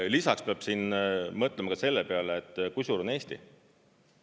Lisaks peab mõtlema ka selle peale, kui suur on Eesti.